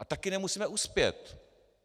A také nemusíme uspět.